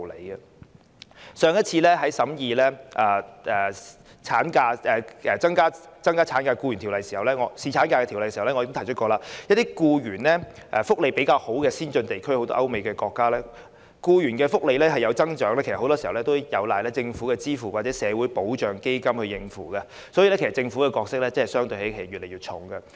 在本會上次審議對《僱傭條例》進行修訂以增加侍產假時，我已提及一些僱員福利較佳的先進地區，例如歐美國家，當地的僱員福利有所增加，其實很多時候也有賴政府支付或由社會保障基金應付，所以，政府的角色會越來越重。